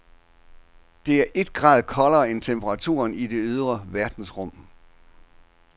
Det er et grad koldere end temperaturen i det ydre verdensrum.